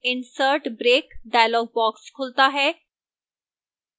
insert break dialog box खुलता है